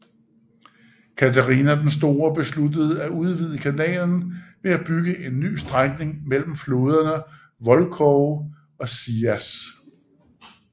Katharina den Store besluttede at udvide kanalen ved at bygge en ny strækning mellem floderne Volkhov og Sias